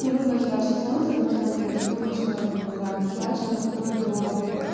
и в окно херачит солнце поэтому мне даже плотные шторы не помогают и херачит оно вплоть до